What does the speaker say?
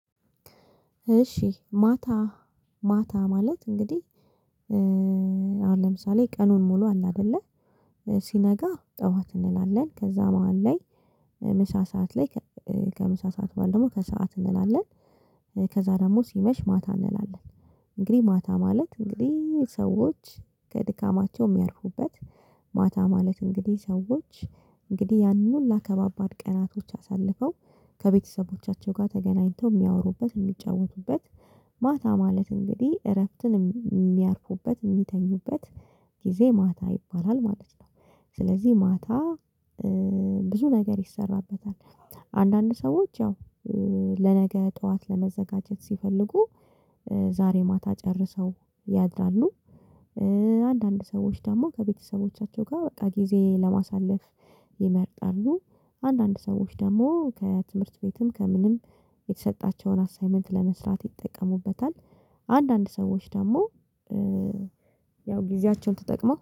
እሺ ማታ ማታ ማለት እንግዲህ አሁን ለምሳሌ ቀኑን ሙሉ አለ አይደለ ሲነጋ ጠዋት እንላለን ከዛ መሃል ላይ ምሳ ሰዓት ላይ ከምሳ ሰዓት በኋላ ደግሞ ከሰአት እንላለን። ከዛ ደግሞ ሲመሽ ማታ እንላለን። እንግዲህ ማታ ማለት እንግዲህ ሰዎች ከድካማቸው የሚያርፉበት ማታ ማለት እንግዲህ ሰዎች እንግዲህ ያንን ሁላ ከባባድ ቀናቶች አሳልፈው ከቤተሰቦቻቸው ጋር ተገናኝተው የሚያወሩበት የሚጫወቱበት ማታ ማለት እንግዲህ እረፍትን የሚያርፉበት የሚተኙበት ጊዜ ማታ ይባላል ማለት ነው። ስለዚህ ማታ ብዙ ነገር ይሰራበታል። አንዳንድ ሰዎች ያው ለነገ ጠዋት ለመዘጋጀት ሲፈልጉ ዛሬ ማታ ጨርሰው ያድራሉ። አንዳንድ ሰዎች ደግሞ ከቤተሰቦቻቸው ጋር በቃ ጊዜ ለማሳለፍ ይመርጣሉ። አንዳንድ ሰዎች ደግሞ ከትምህርት ቤትም ከምንም የተሰጣቸውን አሳይመንት ለመስራት ይጠቀሙበታል። አንዳንድ ሰዎች ደግሞ ያው ጊዜያቸውን ተጠቅመው